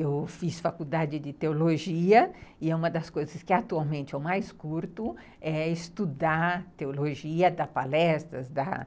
Eu fiz faculdade de teologia e uma das coisas que atualmente eu mais curto é estudar teologia, dar palestras, dar